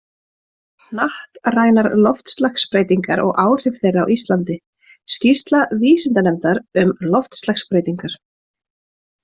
Hnattrænar loftslagsbreytingar og áhrif þeirra á Íslandi: Skýrsla vísindanefndar um loftslagsbreytingar.